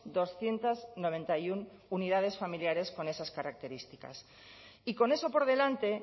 doscientos noventa y uno unidades familiares con esas características y con eso por delante